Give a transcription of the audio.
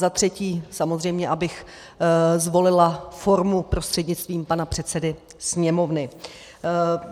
za třetí - samozřejmě abych zvolila formu prostřednictvím pana předsedy Sněmovny.